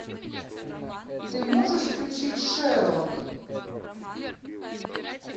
ты можешь включить шерлок